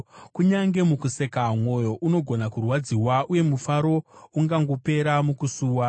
Kunyange mukuseka mwoyo unogona kurwadziwa, uye mufaro ungangoperera mukusuwa.